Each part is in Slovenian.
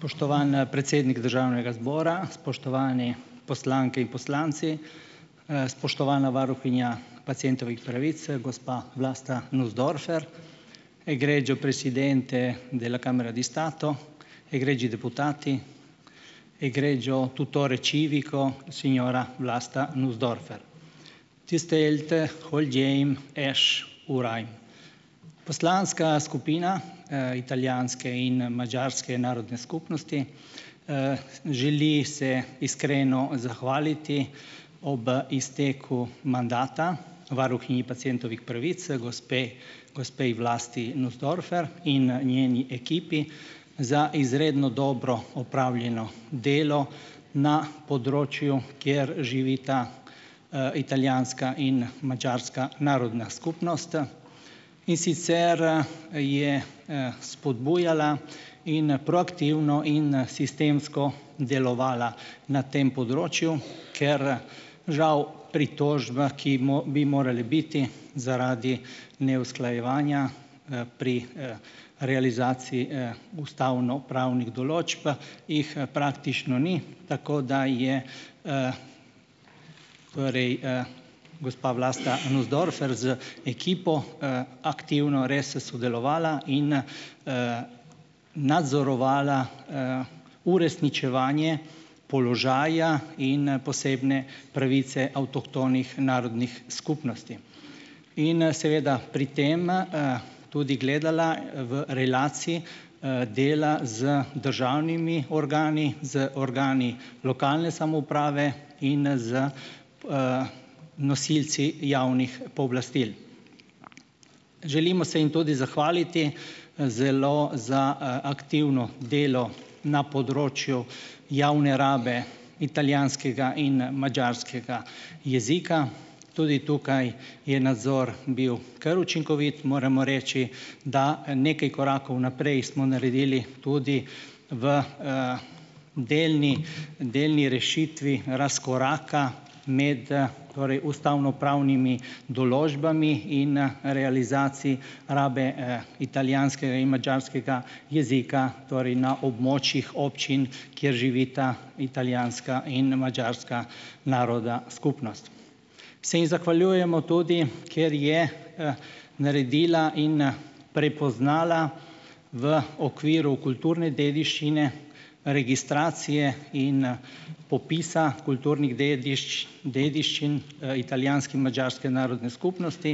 Spoštovani predsednik državnega zbora, spoštovani poslanke in poslanci, spoštovana varuhinja pacientovih pravic, gospa Vlasta Nussdorfer. Poslanska skupina, italijanske in madžarske narodne skupnosti, želi se iskreno zahvaliti ob izteku mandata varuhinji pacientovih pravic gospe gospej Vlasti Nussdorfer in njeni ekipi za izredno dobro opravljeno delo na področju, kjer živita, italijanska in madžarska narodna skupnost in sicer, je, spodbujala in proaktivno in sistemsko delovala na tem področju, ker, žal pritožba, ki ima bi morala biti zaradi neusklajevanja, pri, realizaciji, ustavno pravnih določb, jih praktično ni, tako da je, torej, gospa Vlasta Nussdorfer z ekipo, aktivno res sodelovala in, nadzorovala, uresničevanje položaja in posebne pravice avtohtonih narodnih skupnosti. In seveda pri tem, tudi gledala v relaciji dela, z državnimi organi, z organi lokalne samouprave in z, nosilci javnih pooblastil. Želimo se jim tudi zahvaliti zelo za aktivno delo na področju javne rabe italijanskega in madžarskega jezika. Tudi tukaj je nadzor bil kar učinkovit. Moramo reči, da nekaj korakov naprej smo naredili tudi v, delni delni rešitvi razkoraka med, torej ustavnopravnimi določbami in, realizaciji rabe, italijanskega in madžarskega jezika, torej na območjih občin, kjer živita italijanska in madžarska naroda skupnost. Se ji zahvaljujemo tudi, ker je, naredila in prepoznala v okviru kulturne dediščine, registracije in, popisa kulturnih dediščin, italijanske in madžarske narodne skupnosti,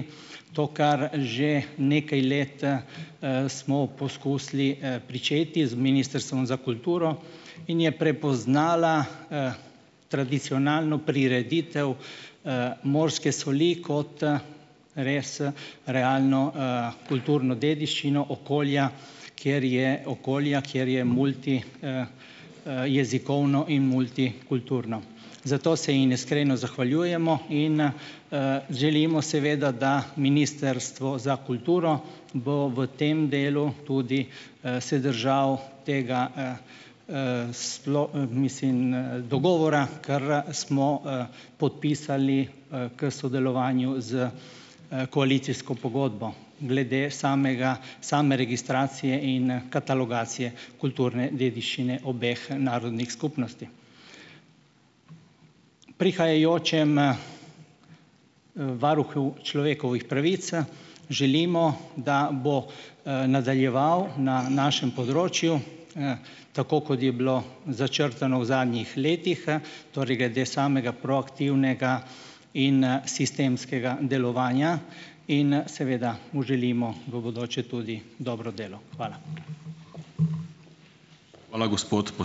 to kar že nekaj let, smo poskusili, pričeti z Ministrstvom za kulturo in je prepoznala, tradicionalno prireditev, morske soli, kot, res realno, kulturno dediščino okolja, kjer je okolja, kjer je multi, jezikovno in multikulturno. Zato se jim iskreno zahvaljujemo in, želimo seveda, da Ministrstvo za kulturo bo v tem delu tudi, se držalo tega, sploh, mislim, dogovora katerega smo, podpisali k sodelovanju s, koalicijsko pogodbo, glede samega same registracije in, katalogizacije kulturne dediščine obeh narodnih skupnosti. Prihajajočemu, varuhu človekovih pravic, želimo, da bo, nadaljeval na našem področju, tako kot je bilo začrtano v zadnji letih. Torej, glede samega proaktivnega in, sistemskega delovanja in, seveda mu želimo v bodoče tudi dobro delo. Hvala.